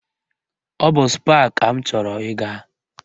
Ọ bụ Spáà ka m chọrọ ịga